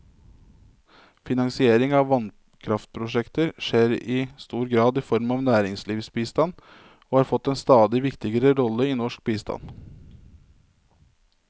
Finansiering av vannkraftprosjekter skjer i stor grad i form av næringslivsbistand, som har fått en stadig viktigere rolle i norsk bistand.